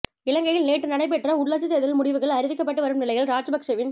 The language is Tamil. இலங்கையில் நேற்று நடைபெற்ற உள்ளாட்சி தேர்தலின் முடிவுகள் அறிவிக்கப்பட்டு வரும் நிலையில் ராஜபக்சேவின்